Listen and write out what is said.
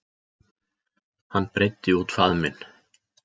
Hann breiddi út faðminn.